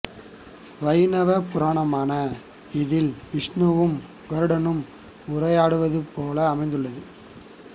வைணவ புராணமான இதில் விஷ்ணுவும் கருடனும் உரையாடுவது போன்று அமைந்துள்ளது